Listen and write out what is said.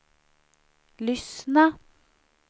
lyssna